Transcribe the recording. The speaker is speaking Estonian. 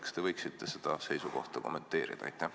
Kas te võiksite seda seisukohta kommenteerida?